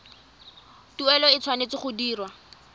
tuelo e tshwanetse go dirwa